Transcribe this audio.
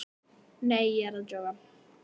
Nei, ég er að djóka.